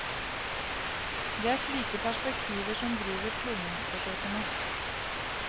Det er slike perspektiver som driver kloningsforsøkene.